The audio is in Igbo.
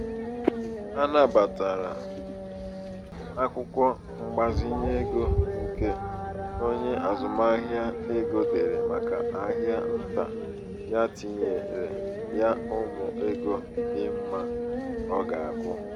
anabatara akwụkwọ mgbazinye ego nke onye azụmahịa ego dere màkà ahịa ntà ya tinyere ya ụma ego dị mma ọ ga-akwụ.